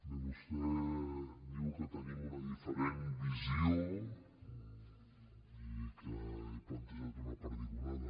bé vostè diu que tenim una diferent visió i que he plantejat una perdigonada